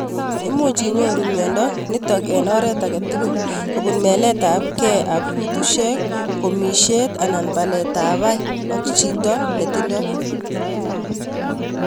Much inyoru miondo nitok ing oret agei tugul kupun melet ap kei ap kutushek, komishet, anan palet ap pai ak chitoto ne tindoi.